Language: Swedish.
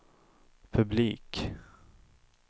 publik